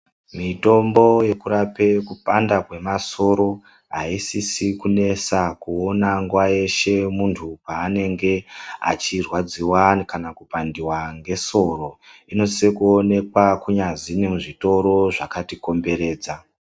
Mitombo yekurape kupanda kwemasoro haisisi kunesa kuona nguva yeshe muntu paanenge achirwadziwa kana kupandiwa ngesoro. Inosise kuonekwa kunyazi nemuzvitoro zvakati komberedza.